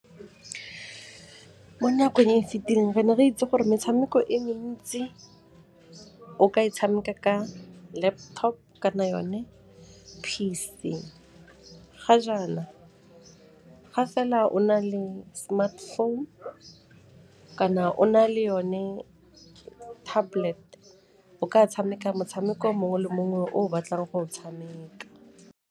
Mo nakong e e fitileng, re ne re itse gore metshameko e mentsi o ka e tshameka ka laptop kana yone P_C, ga jaana ga fela o na le smartphone kana o na le yone tablet o ka tshameka motshameko mongwe le mongwe o o batlang go o tshameka.